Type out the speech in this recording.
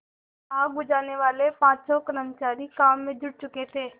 आग बुझानेवाले पाँचों कर्मचारी काम में जुट चुके थे